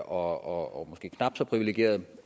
og måske knap så privilegeret